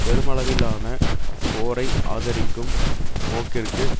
பெருமளவிலான போரை ஆதரிக்கும் போக்கிற்கு